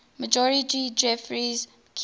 major geoffrey keyes